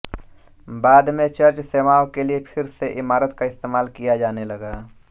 बाद में चर्च सेवाओं के लिए फिर से इमारत का इस्तेमाल किया जाने लगा